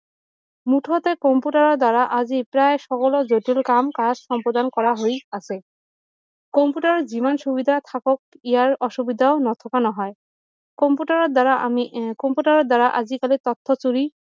মুঠতে কম্পিউটাৰ দ্বাৰা আজি প্ৰায় সকলো জটিল কাম কাজ সম্পাদন কৰা হৈ আছে কম্পিউটাৰ যিমান সুবিধা থাকক ইয়াৰ অসুবিধা নথকা নহয় কম্পিউটাৰ দ্বাৰা আমি উম কম্পিউটাৰ দ্বাৰা আজি কালি